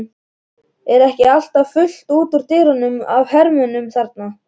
Er ekki alltaf fullt út úr dyrum af hermönnum þarna?